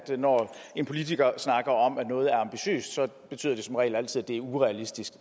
at når en politiker snakker om at noget er ambitiøst så betyder det som regel altid at det er urealistisk